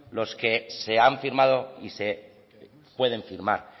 los que se han firmado y se pueden firmar